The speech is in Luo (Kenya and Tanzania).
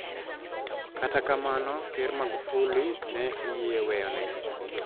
Kata kamano ker magufuli ne oyie weyone